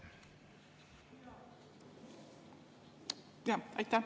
Aitäh!